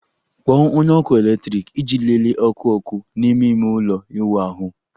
Kpọọ onye ọkụ eletrik iji lelee ọkụ ọkụ n'ime ime ụlọ ịwụ ahụ